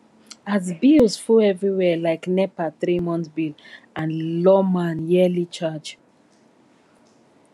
as bills full everywhere like nepa threemonth bill and lawma yearly charge